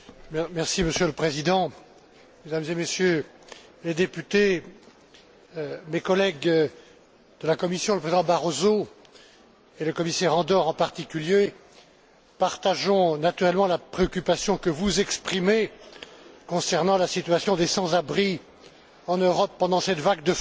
Monsieur le Président, Mesdames et Messieurs les députés, avec mes collègues de la Commission le Président Barroso et le commissaire Andor en particulier nous partageons naturellement la préoccupation que vous exprimez concernant la situation des sans abris en Europe pendant cette vague de froid.